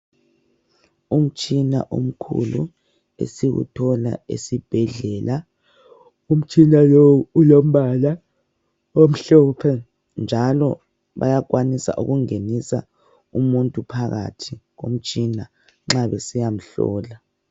Umtshina omkhulu esiwuthola esibhedlela , umtshina lowo ulombala omhlophe njalo bayakwanisa ukungenisa umuntu phakathi komtshina nxa besiyamhlola.